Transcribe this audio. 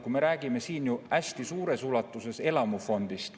Me räägime siin ju hästi suures ulatuses elamufondist.